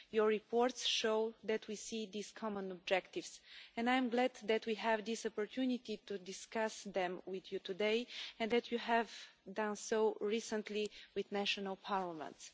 Your reports show that we see these common objectives, and I am glad that we have this opportunity to discuss them with you today and that you have done so recently with national parliaments.